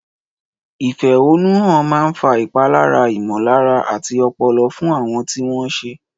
Ìfẹ̀hónúhàn máa ń fa ìpalára ìmọ̀lára àti ọpọlọ fún àwọn tí wọ́n ṣẹ̀.